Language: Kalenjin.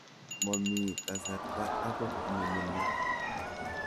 Momii kasarta akot nemining'.